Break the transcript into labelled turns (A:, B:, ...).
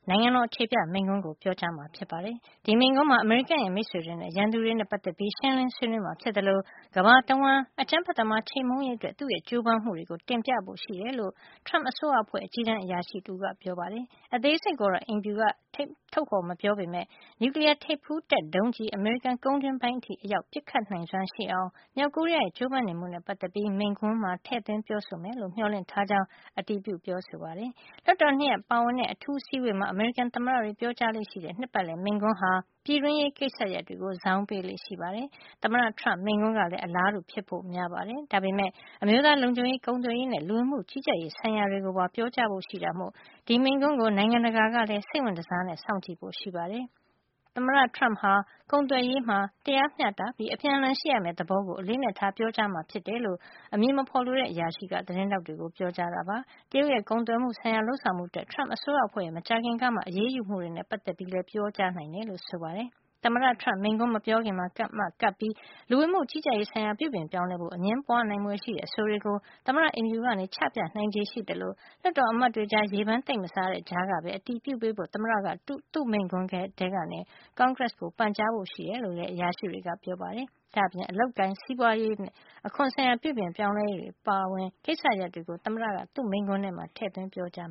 A: နိုင်ငံတော်အခြေပြ မိန့်ခွန်း ပြောကြားမှာဖြစ်ပါတယ်။ ဒီမိန့်ခွန်းမှာ အမေရိကန်ရဲ့ မိတ်ဆွေတွေ၊ ရန်သူတွေနဲ့ပတ်သက်ပြီး ရှင်းလင်း ပြောဆိုမှာဖြစ်သလို ကမ္ဘာတဝန်း အကြမ်းဖက်ဝါဒီတွေကို ချေမှုန်းရေးအတွက် သူ့ရဲ့ ကြိုးပမ်းမှုတွေကို တင်ပြဖို့ ရှိတယ်လို့ Trump အစိုးရအဖွဲ့ အကြီးတန်းအရာရှိတဦးကပြောပါတယ်။ အသေးစိတ်ကို သမ္မတအိမ်ဖြူတော်က ထုတ်မပြောပေမယ့် နျူကလီးယားထိပ်ဖူးတပ် ဒုံးကျည် အမေရိကန် ကုန်းတွင်းပိုင်းထိအရောက် ပစ်ခတ်နိုင်စွမ်းရှိအောင် မြောက်ကိုရီးယားရဲ့ ကြိုးပမ်းနေမှုနဲ့ပတ်သက်ပြီး မိန့်ခွန်းမှာ ထည့်သွင်းပြောဆိုမယ်လို့ မျှော်လင့်ထားကြောင်း အရာရှိတွေက အတည်ပြုပါတယ်။ လွှတ်တော်နှစ်ရပ်ပါဝင်တဲ့ အထူးအစည်းအဝေးမှာ အမေရိကန်သမ္မတတွေ ပြောကြားလေ့ရှိတဲ့ နှစ်ပတ်လည် မိန့်ခွန်းဟာ ပြည်တွင်းရေးကိစ္စရပ်တွေကို ဇောင်းပေးလေ့ရှိပါတယ်။ သမ္မတ Trump မိန့်ခွန်းကလည်း အလားတူ ဖြစ်ဖို့ များပါတယ်။ ဒါပေမယ့် အမျိုးသားလုံခြုံရေး၊ ကုန်သွယ်ရေးနဲ့ လူဝင်မှုကြီးကြပ်ရေးဆိုင်ရာတွေကိုပါ ပြောကြားဖို့ရှိတာမို့ ဒီမိန့်ခွန်းကို နိုင်ငံတကာကလည်း စိတ်ဝင်တစား စောင့်ကြည့်ဖို့ ရှိပါတယ်။ သမ္မတ Trump ဟာ ကုန်သွယ်ရေးမှာ တရားမျှတပြီး အပြန်အလှန်ရှိရမယ့်သဘောကို အလေးအနက်ထား ပြောကြားမှာဖြစ်တယ်လို့ အမည်မဖော်လိုတဲ့ အရာရှိက သတင်းထောက်တွေကို ပြောပါတယ်။ တရုတ်ရဲ့ ကုန်သွယ်မှုဆိုင်ရာ လုပ်ဆောင်မှုတွေအတွက် Trump အစိုးရအဖွဲ့ရဲ့ မကြာခင်ကမှ အရေးယူမှုတွေနဲ့ ပတ်သက်ပြီးလည်း ပြောကြားနိုင်တယ်လို့ ဆိုပါတယ်။ သမ္မတ Trump မိန့်ခွန်းမပြောခင်မှာမှ ကပ်ပြီး လူဝင်မှုကြီးကြပ်ရေးဆိုင်ရာ ပြုပြင်ပြောင်းလဲဖို့ အငြင်းပွား ဖွယ်ရှိနိုင်တဲ့ အဆိုတွေကို သမ္မတအိမ်ဖြူတော်က ချပြနိုင်ချေရှိသလို လွှတ်တော်အမတ်တွေကြား သိပ် ရေပန်း မစားတဲ့ကြားကပဲ အတည်ပြုပေးဖို့ သမ္မတက သူ့မိန့်ခွန်းထဲမှာ ကွန်ဂရက်ကို ပန်ကြားဖို့လည်း ရှိတယ်လို့ အရာရှိတွေက ပြောပါတယ်။ ဒါ့ပြင် အလုပ်အကိုင်နဲ့ စီးပွားရေး၊ အခွန်ဆိုင်ရာ ပြုပြင်ပြောင်းလဲရေးတွေ အပါအဝင် ကိစ္စရပ်တွေကို သမ္မတက သူ့မိန့်ခွန်းထဲမှာ ထည့်သွင်း ပြောကြား